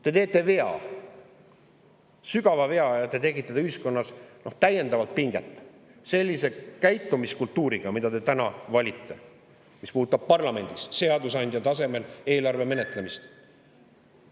Te teete vea, sügava vea, ja tekitate ühiskonnas täiendavat pinget sellise käitumiskultuuriga, mille te olete valinud täna parlamendis seadusandja tasemel eelarve menetlemiseks.